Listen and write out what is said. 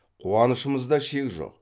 қуанышымызда шек жоқ